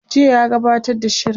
jiya ya gabbatar da shirin